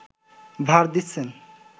ভার দিচ্ছেন